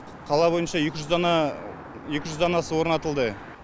қала бойынша екі жүз дана екі жүз данасы орнатылды